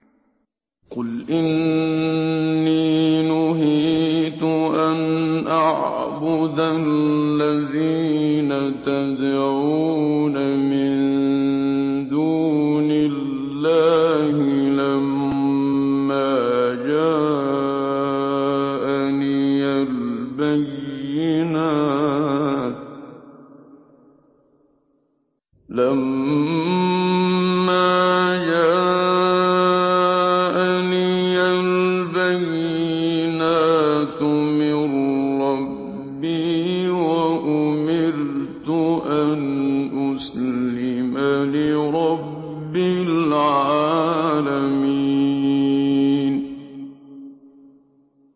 ۞ قُلْ إِنِّي نُهِيتُ أَنْ أَعْبُدَ الَّذِينَ تَدْعُونَ مِن دُونِ اللَّهِ لَمَّا جَاءَنِيَ الْبَيِّنَاتُ مِن رَّبِّي وَأُمِرْتُ أَنْ أُسْلِمَ لِرَبِّ الْعَالَمِينَ